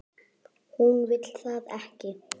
Hún vill það ekki.